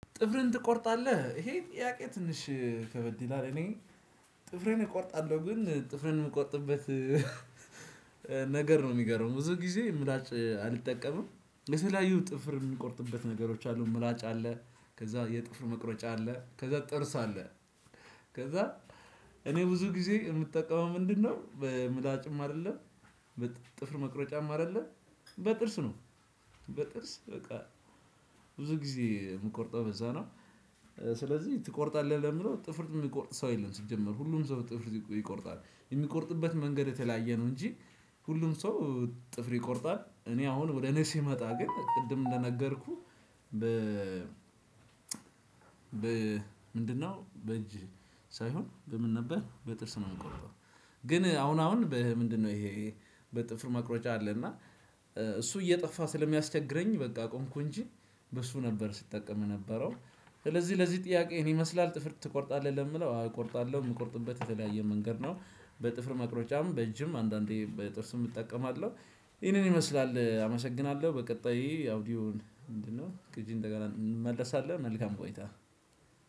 ጥፍርን ትቆርጣለህ ይሄ ጥያቄ? ትንሽ ከበድይላል እኔ ጥፍሪን እቆርጣለሁ። ግን ጥፍሪን የምቆርጥበት ነገር ነው የሚገርመው ብዙ ጊዜ ምላጭ አልጠቀምም። የተለያዩ ጥፍር የሚቆርጥበት ነገሮች አሉ ምላጭ አለ። ከዛ የጥፍር መቁረጫ አለ ከዛ ጥርስ አለ። ከዛ እኔ ብዙ ጊዜ የምጠቀመው ምንድነው? በምላጭም አይደለም በጥፍር መቅረጫም አይደለም በጥርስ ነው። በጥርስ በቃ ብዙ ጊዜ የምቆርጠው በዛ ነው። ስለዚህ ትቆርጣለህ ለሚለው ጥፍር የማይቆርጥ ሰው የለም። ሲጀምር ሁሉም ሰው ጥፍር ይቆርጣል የሚቆርጥበት መንገድ የተለያየ ነው። እንጂ ሁሉም ሰው ጥፍር ይቆርጣል። እኔ አሁን ወደ እኔ ሲመጣ ግን ቅድም እንደነገርኩህ። በ ምንድነው? በእጅ ሳይሆን በምን ነበር በጥርስ ነው እምቆርጠው። ግን አሁን አሁን ምንድነው? ይሄ በጥፍር መቁረጫ አለ እና እሱ እየጠፋ ስለሚያስቸግረኝ በቃ አቆምኩ። እንጂ በሱ ነበር ስጠቀም የነበረው። ስለዚህ ለዚህ ጥያቄ ይሄን ይመስላል ጥፍር ትቆርጣለህ ለሚለው አዎ እቆርጣለሁ እምቆርጥበት የተለያየ መንገድ ነው። በጥፍር መቅረጫም በእጅም አንዳንዴ በጥርስም እጠቀማለሁ። ይሄንን ይመስላል አመሰግናለሁ። በቀጣይ አውዲዮን ምንድነው? ቅጂን እንመለሳለን መልካም ቆይታ።